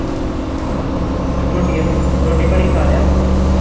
ਰੋਟੀਆਂ ਰੋਟੀ ਪਾਣੀ ਖਾ ਲਿਆ ਵਾ